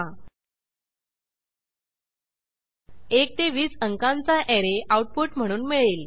1 ते 20 अंकांचा array output म्हणून मिळेल